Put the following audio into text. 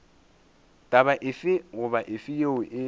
taba efe goba efe yeo